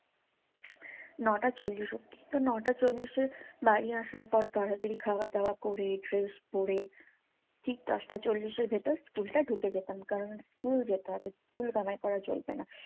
নটা চল্লিশ অবধি। তো নটা চল্লিশে বাড়ি আসার পর তাড়াতাড়ি খাওয়া দাওয়া করে fresh করে ঠিক দশটা চল্লিশের ভেতর school টা ঢুকে যেতাম। কারণ school যেতে হবে। school কামাই করা চলবেনা।